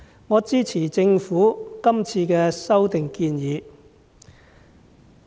我支持政府的修例建議。